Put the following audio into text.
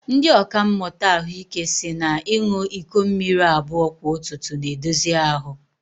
Ndị ọkàmmụta ahụike si na ịṅụ iko mmiri abụọ kwa ụtụtụ na-edozi ahu